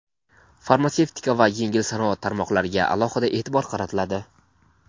farmatsevtika va yengil sanoat tarmoqlariga alohida e’tibor qaratiladi.